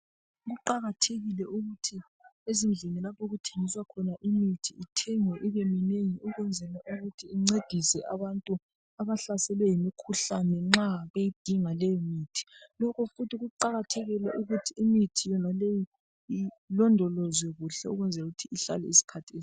kuqakathekile ukuthi ezindlini lapho okuthengiswa khona imithi ithengwe ibe minengi ukwenzela ukuthi incedise abantu abahlaselwe yimikhuhlane nxa beyidinga leyo mithi lokho futhi kuqakathekile ukuthi imithi yonaleyi ilondolozwe kuhle ukwenzela ihlale isikhathi eside